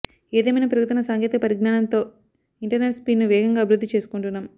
ఏదేమైనా పెరుగుతున్న సాంకేతిక పరిజ్ఞానంతో ఇంటర్నెట్ స్పీడ్ను వేగంగా అభివృద్ధి చేసుకుంటున్నాం